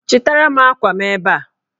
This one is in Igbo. Chịtara m akwa m ebe a!